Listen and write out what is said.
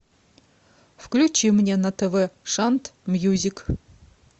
включи мне на тв шант мьюзик